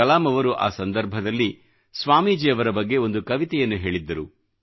ಕಲಾಂ ಅವರು ಆ ಸಂದರ್ಭದಲ್ಲಿ ಸ್ವಾಮೀಜಿ ಅವರ ಬಗ್ಗೆ ಒಂದು ಕವಿತೆಯನ್ನು ಹೇಳಿದ್ದರು